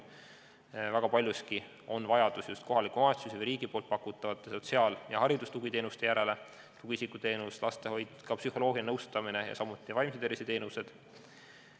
Väga paljuski on vajadus just kohaliku omavalitsuse või riigi pakutavate sotsiaal- ja haridustugiteenuste järele: tugiisikuteenus, lastehoid, ka psühholoogiline nõustamine ja muud vaimse tervise teenused.